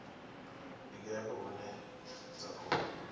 ndi ngafhi hune dza khou